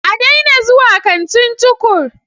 A daina zuwa kantin Tukur!